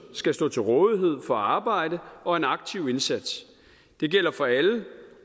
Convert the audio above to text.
skal stå til rådighed for arbejde og en aktiv indsats det gælder for alle